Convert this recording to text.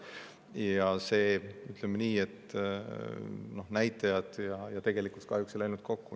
Ja ütleme nii, et näitajad ja tegelikkus kahjuks ei läinud kokku.